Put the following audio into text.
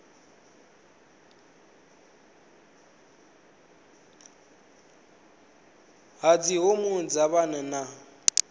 ha dzihormones kha vhanna na